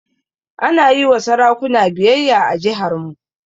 Ana yi wa sarakuna biyayya a jiharmu.